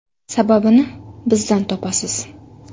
Sababini bizdan topasiz.